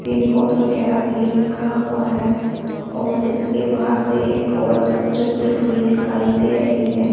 Pin code वगैरह भी लिखा हुआ है और इसके बाहर से एक औरत गुजरती हुई दिखाई दे रही है।